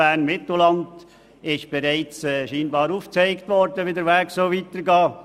Bern-Mitteland ist anscheinend bereits aufgezeigt worden, wie der Weg weitergehen soll.